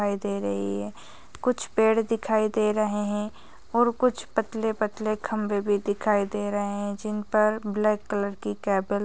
दिखाई दे रही है कुछ पेड़ दिखाई दे रहे है और कुछ पतले-पतले खंबे भी दिखाई दे रहे है जिन पर ब्लैक कलर की केबल --